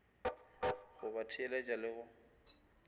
go ba theeletša le go